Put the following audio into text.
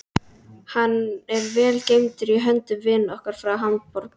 Hann er vel geymdur í höndum vina okkar frá Hamborg.